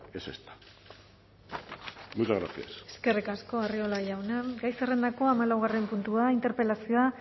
es esta muchas gracias eskerrik asko arriola jauna gai zerrendako hamalaugarren puntua interpelazioa